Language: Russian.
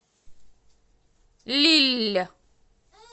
лилль